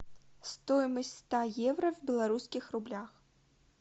стоимость ста евро в белорусских рублях